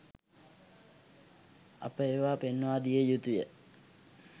අප ඒවා පෙන්වාදිය යුතුය